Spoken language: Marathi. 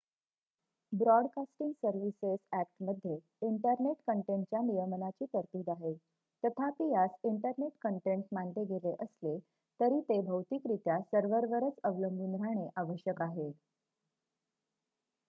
ब्रॉडकास्टिंग सर्व्हिसेस अ‍ॅक्टमध्ये इंटरनेट कंटेंटच्या नियमनाची तरतूद आहे तथापि यास इंटरनेट कंटेंट मानले गेले असले तरी ते भौतिकरित्या सर्व्हरवरच अवलंबून राहणे आवश्यक आहे